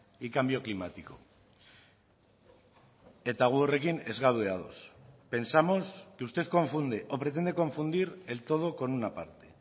y cambio climático eta gu horrekin ez gaude ados pensamos que usted confunde o pretende confundir el todo con una parte